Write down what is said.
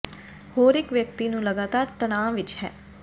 ਹੋਰ ਇੱਕ ਵਿਅਕਤੀ ਨੂੰ ਇੱਕ ਲਗਾਤਾਰ ਤਣਾਅ ਵਿੱਚ ਹੈ